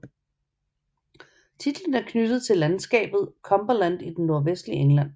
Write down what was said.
Titlen er knyttet til landskabet Cumberland i det nordvestlige England